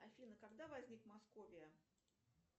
афина когда возник московия